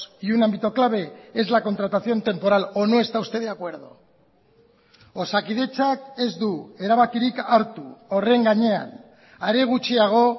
y un ámbito clave es la contratación temporal o no esta usted de acuerdo osakidetzak ez du erabakirik hartu horren gainean are gutxiago